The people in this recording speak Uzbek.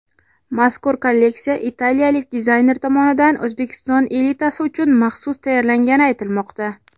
Mazkur kolleksiya italiyalik dizayner tomonidan O‘zbekiston elitasi uchun maxsus tayyorlangani aytilmoqda.